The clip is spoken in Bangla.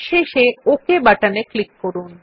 শেষে ওক বাটনে ক্লিক করুন